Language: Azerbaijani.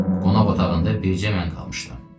Qonaq otağında bircə mən qalmışdım.